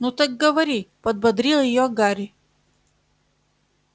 ну так говори подбодрил её гарри